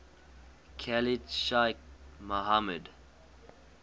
khalid sheikh mohammed